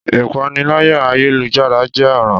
Ìpániláyà ayélujára jẹ́ ọ̀ràn